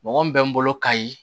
Mɔgɔ min bɛ n bolo kayi